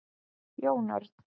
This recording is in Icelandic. Jón Örn,